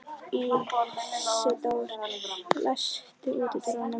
Ísidór, læstu útidyrunum.